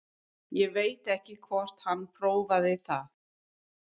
Ég veit ekki hvort hann prófaði það.